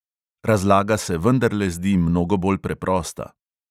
Razlaga se vendarle zdi mnogo bolj preprosta.